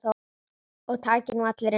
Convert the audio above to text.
Og taki nú allir undir.